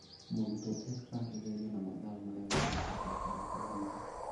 Mũrutwo ekaga kĩgeranio na mathaa marĩa mandĩkĩtwo karatathi-inĩ